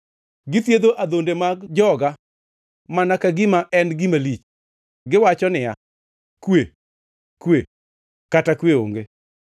Githiedho adhonde mag joga mana ka gima ok en gima lich. Giwacho niya, “Kwe, kwe,” kata kwe onge.